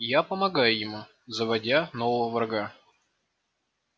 я помогаю ему заводя нового врага